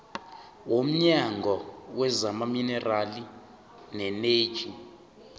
womnyango wezamaminerali neeneji